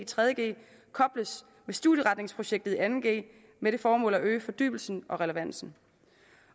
tredje g kobles med studieretningsprojektet i anden g med det formål at øge fordybelsen og relevansen